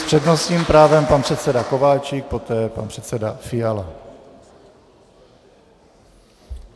S přednostním právem pan předseda Kováčik, poté pan předseda Fiala.